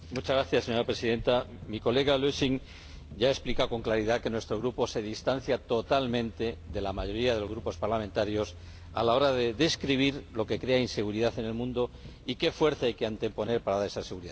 Señora Presidenta, mi colega Lösing ya ha explicado con claridad que nuestro Grupo se distancia totalmente de la mayoría de los grupos parlamentarios a la hora de describir lo que crea inseguridad en el mundo y qué fuerza hay que anteponer para dar esa seguridad.